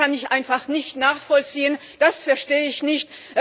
Das kann ich einfach nicht nachvollziehen, das verstehe ich nicht!